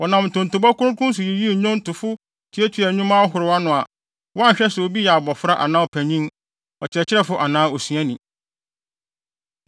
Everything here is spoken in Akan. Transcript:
Wɔnam ntontobɔ kronkron so yiyii nnwontofo tuatuaa nnwuma ahorow ano a wɔanhwɛ sɛ obi yɛ abofra anaa ɔpanyin, ɔkyerɛkyerɛfo anaa osuani.